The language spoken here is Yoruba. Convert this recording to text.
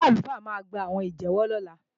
Ṣé àlùfáà máa gbàwọn ìjẹ́wọ́ lọ́la?